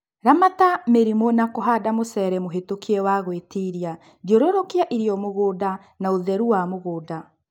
Ramata mĩrimũ na kũhanda mũcere mũhetũkie na wa gwĩtiria, thiũrũrũkia irio mũgũnda na ũtheru wa mũgũnda